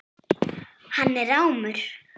Hann er rámur.